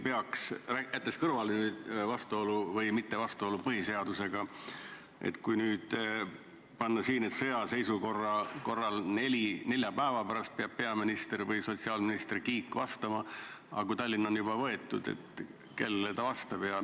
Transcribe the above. Jättes kõrvale vastuolu või mittevastuolu põhiseadusega, kuid kui sõjaseisukorra ajal peab nelja päeva pärast peaminister või sotsiaalminister Kiik vastama, aga Tallinn on juba võetud, siis kellele ta vastab?